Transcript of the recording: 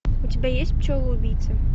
у тебя есть пчелы убийцы